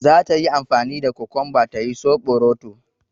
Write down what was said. Zata yi amfani da kukunba ta yi soɓoroto